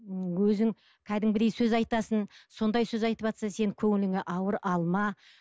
м өзің кәдімгідей сөз айтасың сондай сөз айтыватса сен көңіліңе ауыр алма